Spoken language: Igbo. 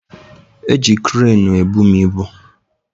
Eji kreenu ebu m ibu